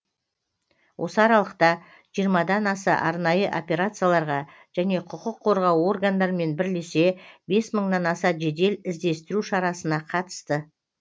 осы аралықта жиырмадан аса арнайы операцияларға және құқық қорғау органдарымен бірлесе бес мыңнан аса жедел іздестіру шарасына қатысты